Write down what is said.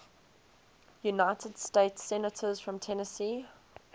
united states senators from tennessee